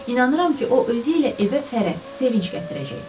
İnanıram ki, o özü ilə evə fərəh, sevinc gətirəcək.